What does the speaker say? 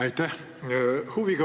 Aitäh!